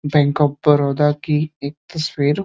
bank of Baroda की एक तस्वीर --